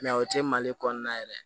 o tɛ mali kɔnɔna yɛrɛ ye